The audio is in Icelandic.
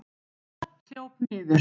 Lilla hljóp niður.